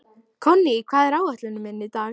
Konný, hvað er á áætluninni minni í dag?